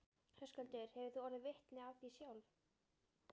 Höskuldur: Hefur þú orðið vitni af því sjálf?